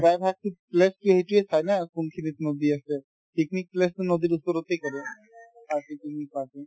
প্ৰায় ভাগতো place কি সেইটোয়ে চাই না কোনখিনিত নদী আছে picnic place তো নদীৰ ওচৰতে কৰে চাইচিতি কিনে